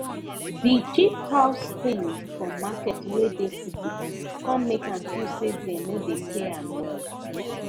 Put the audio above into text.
de cheap house thing for market wey dey city com make ahm feel say dem no dey pay ahm well